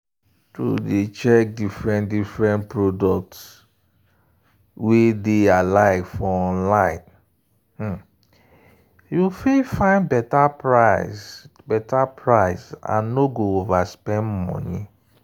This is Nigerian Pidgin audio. to dey check different-different product wey dey alike for online you find better price and nor go overspend money.